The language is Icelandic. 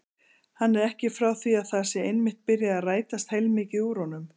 Hann er ekki frá því að það sé einmitt byrjað að rætast heilmikið úr honum.